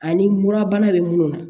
Ani murabana bɛ munnu na